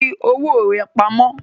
Fi owó rà pamó